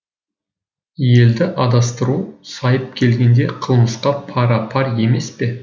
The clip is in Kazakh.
елді адастыру сайып келгенде қылмысқа пара пар емес пе